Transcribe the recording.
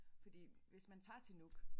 Fordi hvis man tager til Nuuk